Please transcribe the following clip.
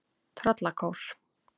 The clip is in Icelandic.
Tröllakór